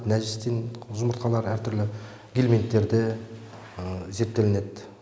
нәжістен жұмыртқалар әртүрлі гельминттерді зерттелінеді